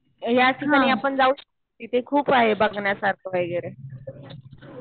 ह्या ठिकाणी आपण जाऊ शकतो. तिथे खूप आहे बघण्यासारखं वगैरे.